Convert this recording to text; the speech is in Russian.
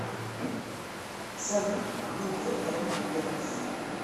салют видео эмма петерс